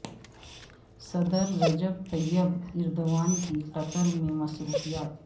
صدر Recep Tayyip Erdogan کی Qatar میں مصروفیات